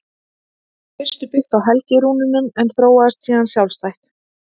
Það var í fyrstu byggt á helgirúnunum en þróaðist síðan sjálfstætt.